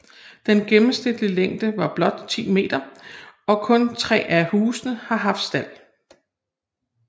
Den gennemsnitlige længde var blot 10 m og kun tre af husene har haft stald